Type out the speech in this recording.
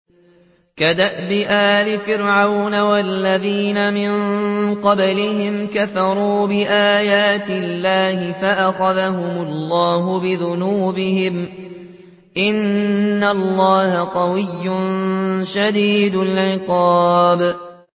كَدَأْبِ آلِ فِرْعَوْنَ ۙ وَالَّذِينَ مِن قَبْلِهِمْ ۚ كَفَرُوا بِآيَاتِ اللَّهِ فَأَخَذَهُمُ اللَّهُ بِذُنُوبِهِمْ ۗ إِنَّ اللَّهَ قَوِيٌّ شَدِيدُ الْعِقَابِ